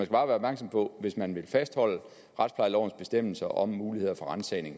bare være opmærksom på at hvis man vil fastholde retsplejelovens bestemmelser om muligheder for ransagning